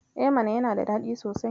E mana, yana da daɗi sosai.